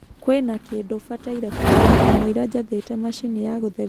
kwĩna kindu mbataire kumenya kamuira njathite machĩnĩ ya gutherĩa ya robot